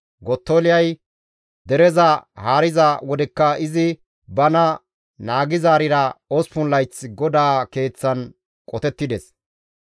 Gottoliyay dereza haariza wodekka izi bana naagizaarira 8 layth GODAA keeththan qotettides.